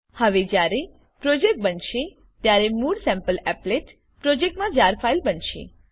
હવે જયારે પ્રોજેક્ટ બનશે ત્યારે મૂળ સેમ્પલીપલેટ પ્રોજેક્ટમા જાર ફાઈલ બનશે